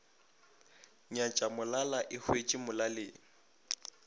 nyatša molala e hwetše molaleng